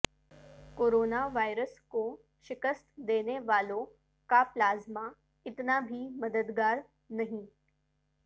corona virus کو شکست دینے والوں کا پلازمہ اتنا بھی مددگار نہیں